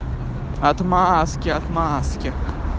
отмазки отмазки